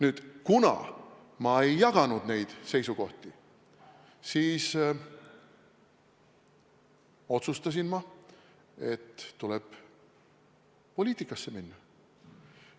Aga kuna ma ei jaganud neid seisukohti, siis otsustasin ma, et tuleb poliitikasse minna.